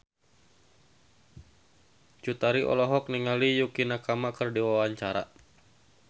Cut Tari olohok ningali Yukie Nakama keur diwawancara